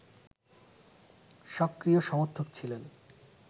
সক্রিয় সমর্থক ছিলেন